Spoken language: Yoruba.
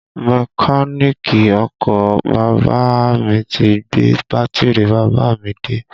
Mẹ́káníìkì ọkọ bàbá à mi ti gbé bátìrì bàbá à mi dé